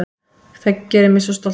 Það gerir mig svo stoltan.